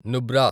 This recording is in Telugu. నుబ్రా